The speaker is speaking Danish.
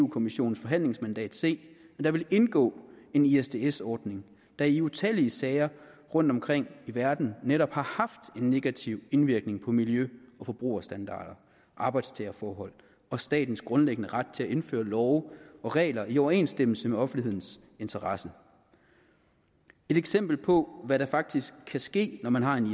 kommissionens forhandlingsmandat se at der ville indgå en isds isds ordning der i utallige sager rundtomkring i verden netop har haft en negativ indvirkning på miljø og forbrugerstandarder arbejdstagerforhold og statens grundlæggende ret til at indføre love og regler i overensstemmelse med offentlighedens interesse et eksempel på hvad der faktisk kan ske når man har en